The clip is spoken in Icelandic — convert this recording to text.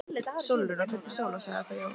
Sólrún. og kölluð Sóla, sagði þá Jón.